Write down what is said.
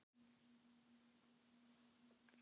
Nei, sagði sonur hans dræmt,-það er ekki hans vilji.